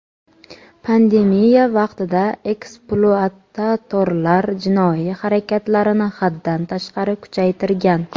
pandemiya vaqtida ekspluatatorlar jinoiy harakatlarini haddan tashqari kuchaytirgan.